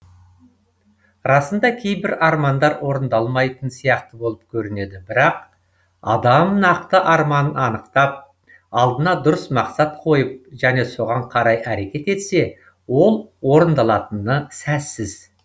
расында кейбір армандар орындалмайтын сияқты болып көрінеді бірақ адам нақты арманын анықтап алдына дұрыс мақсат қойып және соған қарай әрекет етсе ол орындалатыны сәзсіз